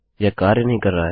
यह कार्य नहीं कर रहा है